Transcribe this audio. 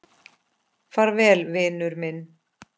Far vel, vinur minn.